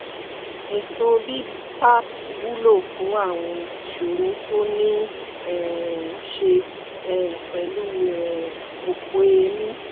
ètò bipap wúlò fún àwọn ìṣòro tó níí um ṣe um pẹ̀lú um òpó èémí